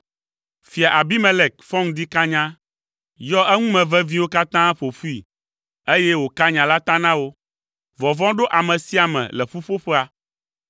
Fia Abimelek fɔ ŋdi kanya, yɔ eŋume veviwo katã ƒo ƒui, eye wòka nya la ta na wo. Vɔvɔ̃ ɖo ame sia ame le ƒuƒoƒea.